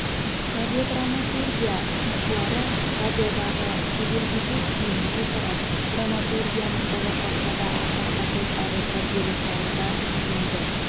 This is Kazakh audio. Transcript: радиодраматургия сыншылары радиодағы тәжірибеге сүйене отырып драматургияның болашақта да аса қажет әрі тәрбиелік мәні бар тиімді